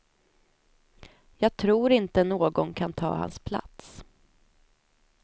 Jag tror inte någon kan ta hans plats.